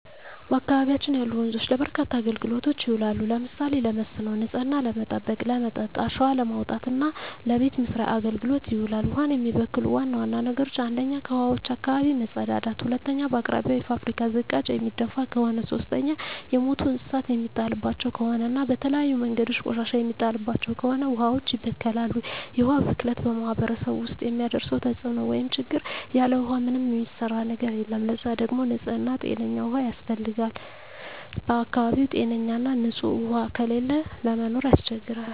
በአካባቢያችን ያሉ ወንዞች ለበርካታ አገልግሎቶች ይውላሉ። ለምሳሌ ለመስኖ፣ ንጽህናን ለመጠበቅ፣ ለመጠጥ፣ አሸዋ ለማውጣት እና ለበቤት መሥርያ አገልግሎት ይውላሉ። ውሀን የሚበክሉ ዋና ዋና ነገሮች 1ኛ ከውሀዋች አካባቢ መጸዳዳት መጸዳዳት 2ኛ በአቅራቢያው የፋብሪካ ዝቃጭ የሚደፍ ከሆነ ከሆነ 3ኛ የሞቱ እንስሳት የሚጣልባቸው ከሆነ እና በተለያዩ መንገዶች ቆሻሻ የሚጣልባቸው ከሆነ ውሀዋች ይበከላሉ። የውሀ ብክለት በማህረሰቡ ውስጥ የሚያደርሰው ተጽዕኖ (ችግር) ያለ ውሃ ምንም የሚሰራ ነገር የለም ለዛ ደግሞ ንጽህና ጤነኛ ውሃ ያስፈልጋል በአካባቢው ጤነኛ ና ንጽህ ውሃ ከሌለ ለመኖር ያስቸግራል።